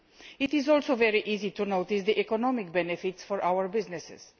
It is also very easy to notice the economic benefits for our businesses.